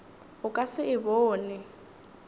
o ka se e bone